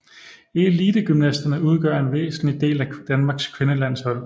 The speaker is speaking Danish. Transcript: Elitegymnasterne udgør en væsentlig del af Danmarks kvindelandshold